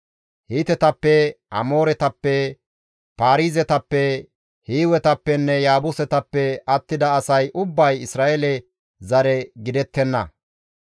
Hiitetappe, Amooretappe, Paarizetappe, Hiiwetappenne Yaabusetappe attida asay ubbay Isra7eele zare gidettenna;